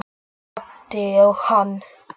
Ég glápti á hana.